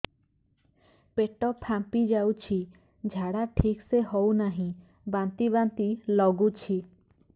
ପେଟ ଫାମ୍ପି ଯାଉଛି ଝାଡା ଠିକ ସେ ହଉନାହିଁ ବାନ୍ତି ବାନ୍ତି ଲଗୁଛି